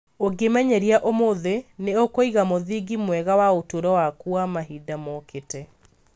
Ũngĩĩmenyeria ũmũthĩ, nĩ ũkũiga mũthingi mwega wa ũtũũro waku wa mahinda mokĩte.